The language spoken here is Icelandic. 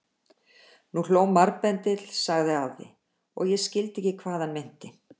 Nú hló marbendill sagði afi og ég skildi ekki hvað hann meinti.